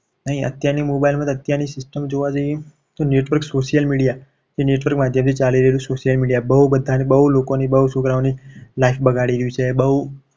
અત્યારની mobile માં તો અત્યારની system જોવા જઈએ. તો network social media એ network ની બધું ચાલી રહ્યું છે. social media બહુ બધાને બહુ લોકોની બહુ છોકરાઓની life બગાડી રહી છે. બહુ